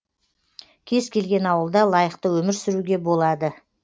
кез келген ауылда лайықты өмір сүруге болады